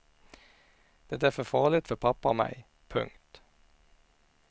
Det är för farligt för pappa och mig. punkt